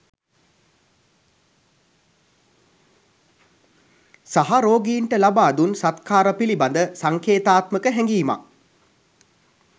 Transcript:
සහ රෝගීන්ට ලබා දුන් සත්කාර පිළිබද සංකේතාත්මක හැගීමක්